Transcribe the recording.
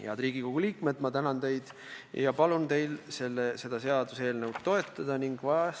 Head Riigikogu liikmed, ma tänan teid ja palun teil seda seaduseelnõu toetada!